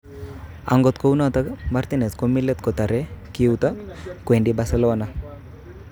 (Sky Sports) Akot kunatok, Martinez komi let kotare koiuto kowendi Barcelona.